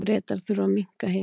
Bretar þurfa að minnka herinn